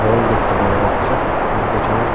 বল দেখতে পাওয়া যাচ্ছে এবং পিছনে--